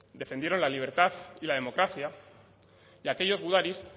defendieron la libertad y la democracia y aquellos gudaris